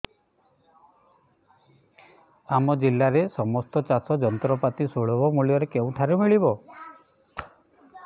ଆମ ଜିଲ୍ଲାରେ ସମସ୍ତ ଚାଷ ଯନ୍ତ୍ରପାତି ସୁଲଭ ମୁଲ୍ଯରେ କେଉଁଠାରୁ ମିଳିବ